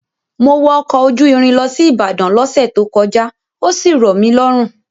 Mo wọ ọkọ̀ ojú irin lọ sí Ìbàdàn lọ́sẹ̀ tó kọjá, ó sì rọ̀ mí lọ́rùn.